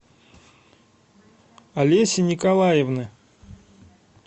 олеси николаевны